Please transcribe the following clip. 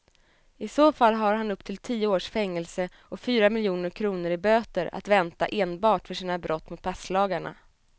I så fall har han upp till tio års fängelse och fyra miljoner kronor i böter att vänta enbart för sina brott mot passlagarna.